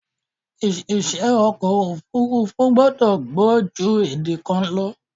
Oṣìṣẹ́ ọkọ̀ òfúrúfú gbọ́dọ̀ gbọ́ jù èdè kan lọ.